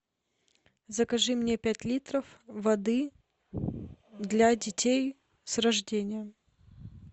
закажи мне пять литров воды для детей с рождения